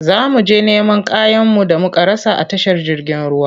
Za mu je neman kayanmu da muka rasa a tashar jirgin ruwa.